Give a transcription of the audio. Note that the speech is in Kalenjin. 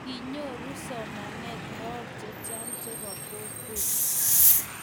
kinyoru somanet laak che chang chepo kokwet